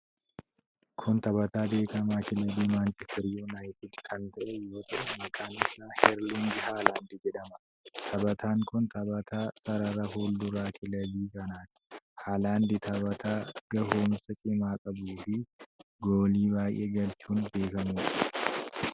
Kun taphataa beekamaa kilabii Manchister Yuunaayitid kan ta'e yoo ta'u, maqaan isaa Irliing Haalaand jedhama. Taphataan kun taphataa sarara fuulduraa kilabii kanaati. Haalaand taphataa gahuumsa cimaa qabuu fi goolii baay'ee galchuun beekamuudha.